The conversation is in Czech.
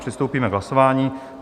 Přistoupíme k hlasování.